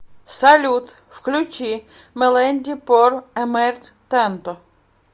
салют включи меленди пор эмерт танто